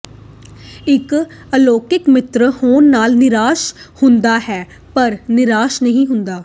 ਇੱਕ ਅਲੌਕਕੀ ਮਿੱਤਰ ਹੋਣ ਨਾਲ ਨਿਰਾਸ਼ ਹੁੰਦਾ ਹੈ ਪਰ ਨਿਰਾਸ਼ ਨਹੀਂ ਹੁੰਦਾ